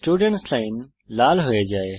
students line লাল হয়ে যায়